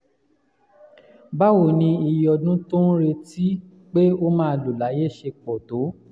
báwo ni iye ọdún tó ń retí pé ó máa lò láyé ṣe pọ̀ tó?